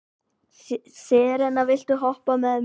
Serena, viltu hoppa með mér?